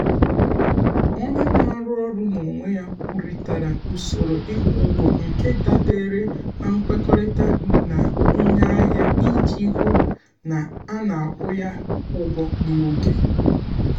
onye na-arụ ọrụ n’onwe ya kwurịtara usoro ịkwụ ụgwọ nke dabere na nkwekọrịta na onye ahịa iji hụ na a na-akwụ ya ụgwọ n’oge.